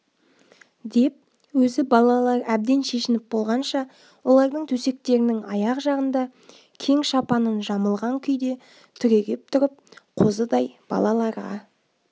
деп өзі балалар әбден шешініп болғанша олардың төсектерінің аяқ жағында кең шапанын жамылған күйде түрегеп тұрып қозыдай балаларға